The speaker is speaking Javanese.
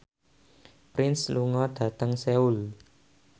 Prince lunga dhateng Seoul